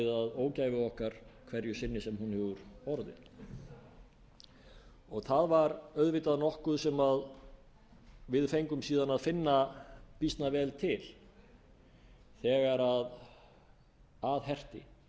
ógæfu okkar hverju sinni sem hún hefur orðið það var auðvitað nokkuð sem við fengum síðan að finna býsna vel til þegar að herti